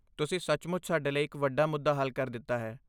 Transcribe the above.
ਤੁਸੀਂ ਸੱਚਮੁੱਚ ਸਾਡੇ ਲਈ ਇੱਕ ਵੱਡਾ ਮੁੱਦਾ ਹੱਲ ਕਰ ਦਿੱਤਾ ਹੈ।